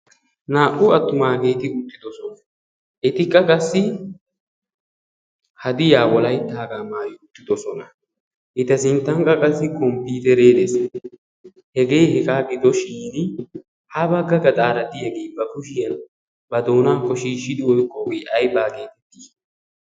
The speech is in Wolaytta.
Naa"u attumaageeti uttidosona etikka qassi hadiya wolayttaagaa maayinuttidosona. Eta sinttankka qassi komppiiteree de"es. Hegee hegaa gidoshin ha bagga gaxaara de"iyagee ba kushiyan ba doonaakko shiishshidi oyqqoogee aybaa geetettii?